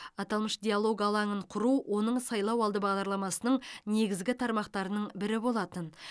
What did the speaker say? аталмыш диалог алаңын құру оның сайлауалды бағдарламасының негізгі тармақтарының бірі болатын